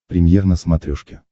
премьер на смотрешке